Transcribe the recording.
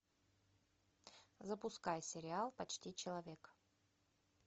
запускай сериал почти человек